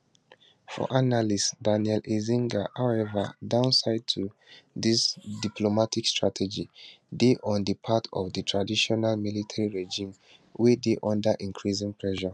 for analyst daniel eizenga however downside to dis diplomatic strategy dey on di part of di transitional military regime wey dey under increasing pressure